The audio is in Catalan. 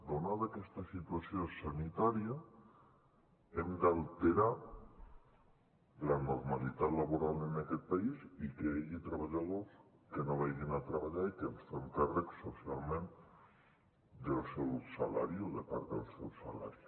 donada aquesta situació sanitària hem d’alterar la normalitat laboral en aquest país i que hi hagi treballadors que no vagin a treballar i que ens fem càrrec socialment del seu salari o de part del seu salari